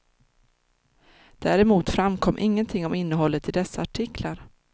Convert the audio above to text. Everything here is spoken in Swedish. Däremot framkom ingenting om innehållet i dessa artikar.